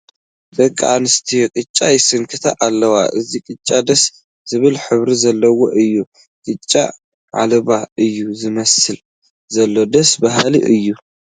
ደቂ ኣንስትዮ ቅጫ ይስንክታ ኣለዋ፡፡ እዚ ቅጫ ደስ ዝብል ሕብሪ ዘለዎ እዩ፡፡ ቂጫ ዒልቦ እዩ ዝመስል ዘሎ፡፡ ደስ በሃሊ እዩ፡፡